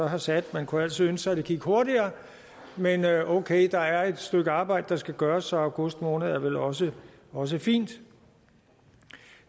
har sat man kunne altid ønske at det gik hurtigere men okay der er et stykke arbejde der skal gøres så august måned er vel også også fint